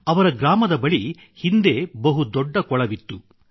ಅವರ ಗ್ರಾಮದ ಬಳಿ ಹಿಂದೆ ಬಹುದೊಡ್ಡ ಕೊಳವಿತ್ತು